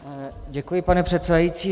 Děkuji, pane předsedající.